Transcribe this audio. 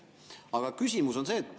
Aga küsimus on see.